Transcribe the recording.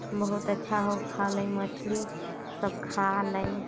बहुत अच्छा हउ खा ले मछली सब खा अलइ।